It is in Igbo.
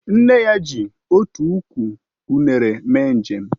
Nne ya ji otu ukwu unere mee njem